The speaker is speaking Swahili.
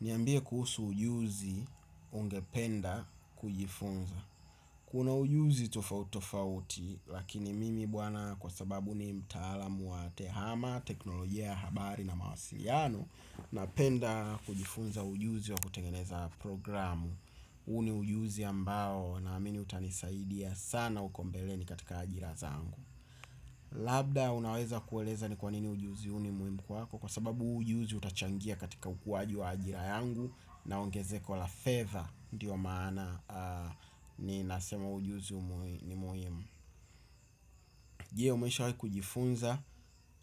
Niambie kuhusu ujuzi ungependa kujifunza. Kuna ujuzi tofauti tofauti lakini mimi bwana kwa sababu ni mtaalamu wa tehama, teknolojia, habari na mawasiliano napenda kujifunza ujuzi wa kutengeneza programu. Huu ni ujuzi ambao naamini utanisaidia sana huko mbele katika ajira zangu. Labda unaweza kueleza ni kwa nini ujuzi huu ni muhimu kwako kwa sababu huu ujuzi utachangia katika ukuaji wa ajira yangu. Naongeze kwa la fedha, ndiyo maana, ninasema ujuzi ni muhimu. Je umeshawahi kujifunza,